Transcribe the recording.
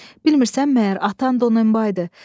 Bilmirsən məyər atan Donenbaydı?